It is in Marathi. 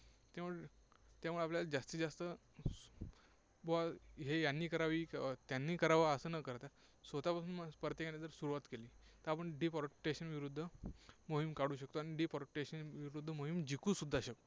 त्यामुळे त्यामुळे आपल्याला जास्तीत जास्त की बुवा हे यांनी करावी, त्यांनी करावं, असं न करता स्वतःपासूनच प्रत्येकाने जर सुरुवात केली, तर आपण deforestation विरुद्ध मोहीम काढू शकतो आणि deforestation विरुद्ध मोहीम जिंकू सुद्धा शकतो.